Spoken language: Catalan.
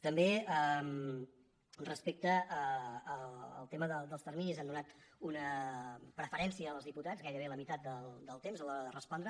també respecte al tema dels terminis hem donat una preferència als diputats gairebé la meitat del temps a l’hora de respondre